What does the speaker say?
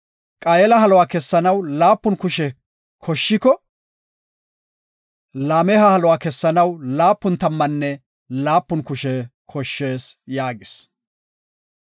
Qaayela haluwa keyanaw laapun kushe koshshiko, Laameha haluwa keyanaw laapun tammanne laapun kushe koshshees” yaagis.